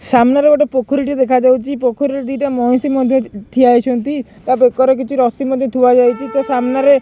ସାମ୍ନାରେ ଗୋଟେ ପୋଖରୀ ଟି ଦେଖାଯାଉଚି ପୋଖରୀ ରେ ଦିଟା ମଇଁଷି ମଧ୍ଯ ଯ ଠିଆ ହେଇଛନ୍ତି ତା ବେକରେ କିଛି ରସି ମଧ୍ଯ ଥୁଆ ଯାଇଚି ତା ସାମ୍ନାରେ।